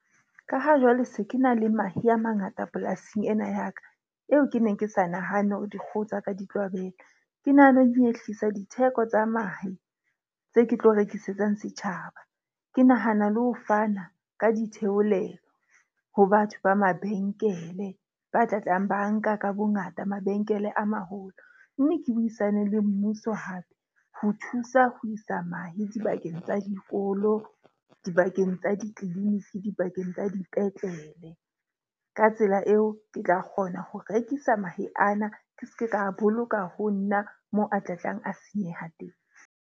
Ka ha jwale se ke na le mahe a mangata polasing ena ya ka. Eo ke neng ke sa nahane hore dikgoho tsa ka di tlo abela. Ke nahana ho nyehlisa ditheko tsa mahe tse ke tlo rekisetsang setjhaba. Ke nahana le ho fana ka ditheolelo ho batho ba mabenkele. Ba tla tlang ba nka ka bongata mabenkele a maholo. Mme ke buisane le mmuso hape ho thusa ho isa mahe dibakeng tsa dikolo, dibakeng tsa di-clinic, dibakeng tsa dipetlele. Ka tsela eo ke tla kgona ho rekisa mahe ana. Ke ske ka boloka ho nna mo a tlatlang a senyeha teng.